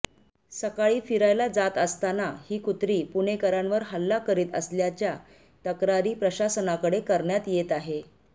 सकाळी फिरायला जात असताना ही कुत्री पुणेकरांवर हल्ला करीत असल्याच्या तक्रारी प्रशासनाकडे करण्यात येत आहे